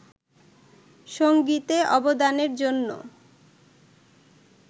সঙ্গীতে অবদানের জন্য